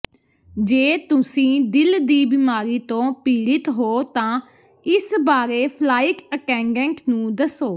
ਜੇ ਤੁਸੀਂ ਦਿਲ ਦੀ ਬਿਮਾਰੀ ਤੋਂ ਪੀੜਿਤ ਹੋ ਤਾਂ ਇਸ ਬਾਰੇ ਫਲਾਈਟ ਅਟੈਂਡੈਂਟ ਨੂੰ ਦੱਸੋ